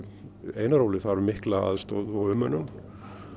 einar Óli þarf mikla aðstoð og umönnun